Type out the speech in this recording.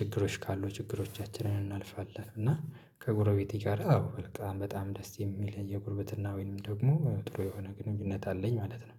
ችግሮች ካሉ ችግሮቻችንን እናልፋለን። እና ከጎረቤቴ ጋር አዎ በጣም በጣም ደስ የሚል የጉርብትና ወይንም ደግሞ ጥሩ የሆነ ግንኙነት አለኝ ማለት ነው።